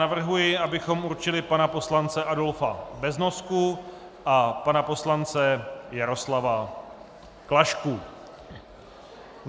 Navrhuji, abychom určili pana poslance Adolfa Beznosku a pana poslance Jaroslava Klašku.